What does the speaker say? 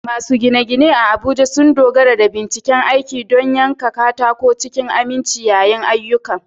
Masu gine-gine a Abuja sun dogara da bencin aiki don yanka katako cikin aminci yayin ayyukan.